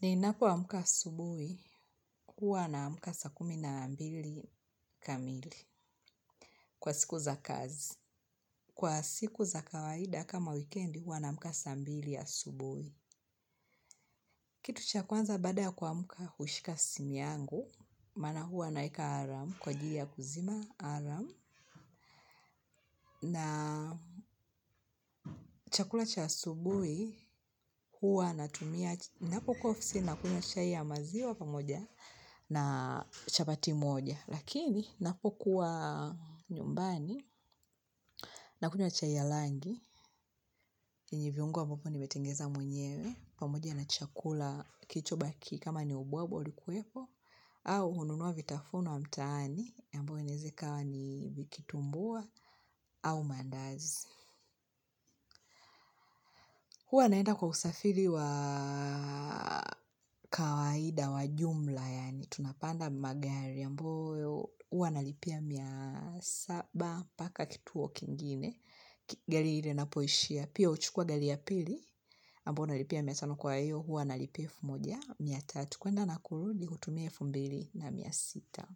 Ninapoamka asubuhi, huwa naamka saa kumi na mbili kamili kwa siku za kazi. Kwa siku za kawaida kama wikendi, huwa naamka saa mbili asubuhi. Kitu cha kwanza baada ya kuamka hushika simu yangu, maana huwa naweka alamu kwa ajili ya kuzima alamu. Na chakula cha asubuhi, huwa natumia, ninapokuwa ofisini natumia chai ya maziwa pamoja na chapati moja. Lakini, napokuwa nyumbani, nakunywa chai ya rangi, jinsi viungo ambavyo nimetengeneza mwenyewe, pamoja na chakula kilichobaki, kama ni ubwabwa ulikuwepo, au hununua vitafunwa vya mtaani, ambavyo inaweza kuwa ni kitumbua au maandazi. Huwa naenda kwa usafiri wa kawaida wa jumla, yaani tunapanda magari, ambayo huwa nalipia mia saba mpaka kituo kingine, gari ile inapoishia, pia huchukua gari ya pili, ambayo nalipia mia tano. Kwa hiyo, huwa nalipia elfu moja mia tatu, kwenda na kurudi kutumia elfu mbili na mia sita.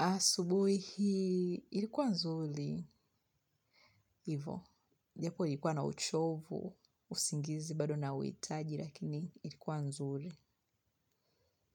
Asubuhi hii ilikuwa nzuri. Hivo. Japo ilikuwa na uchovu, usingizi bado nauhitaji, lakini ilikuwa nzuri.